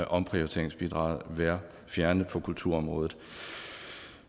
omprioriteringsbidraget være fjernet på kulturområdet